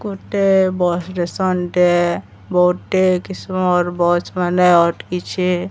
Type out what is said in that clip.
ଗୋଟେ bus station ଟେ ବହୁଟେ କିସମର ବସ ମାନେ ଅଟକିଛେ।